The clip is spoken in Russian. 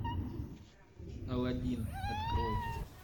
алладин открой